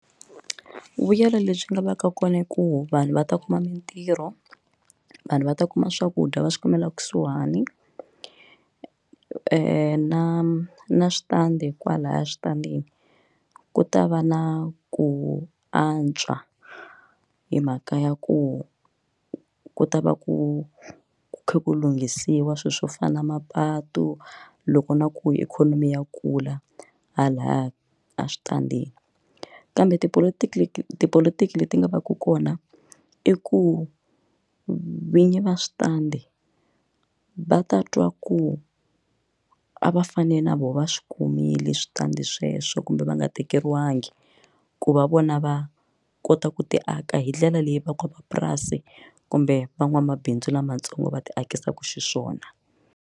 Vuyelo lebyi byi nga va ka kona i ku vanhu va ta kuma mintirho vanhu va ta kuma swakudya va swi kumela kusuhani na na switandi kwalaya eswitandini ku ta va na ku antswa hi mhaka ya ku ku ta va ku kha ku lunghisiwa swilo swo fana na mapatu loko na ku ikhonomi ya kula halaya eswitandini kambe tipolotiki leti tipolotiki leti nga va ka kona i ku vinyi va switandi va ta twa ku a va fani na vona va swi humile switandi sweswo kumbe va nga tekeriwi bangi ku va vona va kota ku ti aka hindlela leyi van'wamapurasi kumbe van'wamabindzu lamatsongo va ti akisiwa xiswona